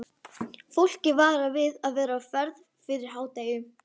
Fólk er varað við að vera á ferð fyrir hádegi.